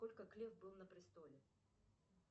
сколько глеб был на престоле